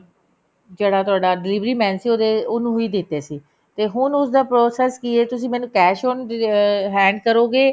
ਜਿਹੜਾ ਤੁਹਾਡਾ delivery man ਸੀ ਉਹਨੂੰ ਹੀ ਦਿੱਤੇ ਸੀ ਤੇ ਹੁਣ ਉਸਦਾ process ਕਿ ਐ ਤੁਸੀਂ ਮੈਨੂੰ cash on hand ਕਰੋਗੇ